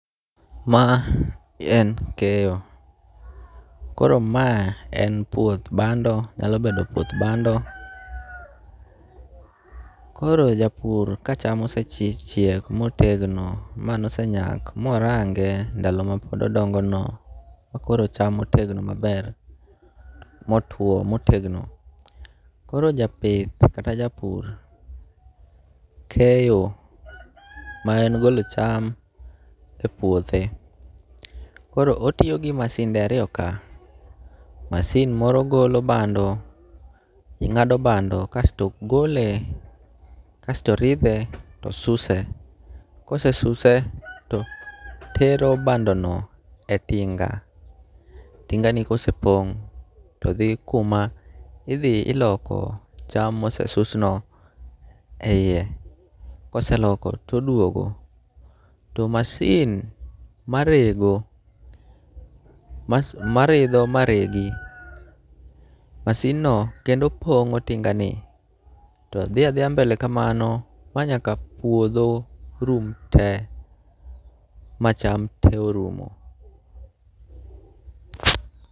Ma en keyo, koro ma en puoth bando, nyalo bedo puoth bando. Koro japur ka cham osechiek motegno, ka nosenyak, morange ndalo mane pod odongo no ma koro cham otegno maber motwo motegno. Koro japith kata japur keyo, ma en golo cham e puothe. Koro otiyo gi masinde ariyo ka, masin moro golo bando, gi ng'ado bando kasto gole kasto ridhe to suse. Kose suse to tero bando no e tinga, tingani kose pong' to dhi kuma idhi iloko cham mose susno e iye. Koseloko todwogo, to masin ma rego maridho maregi, masin no kendo pong'o tinga ni. To dhi adhiya mbele kamano ma nyaka puodho rum te ma cham te orumo.